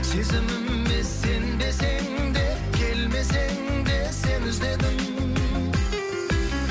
сезіміме сенбесең де келмесең де сені іздедім